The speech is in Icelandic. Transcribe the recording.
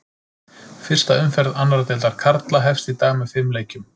Fyrsta umferð annar deildar karla hefst í dag með fimm leikjum.